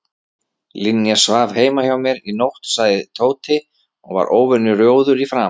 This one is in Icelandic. Linja svaf heima hjá mér í nótt sagði Tóti og var óvenju rjóður í framan.